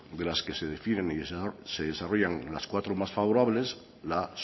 de las que se definen y se desarrollan las cuatro más favorables la